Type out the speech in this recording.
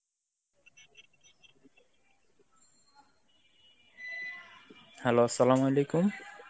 hello Arbi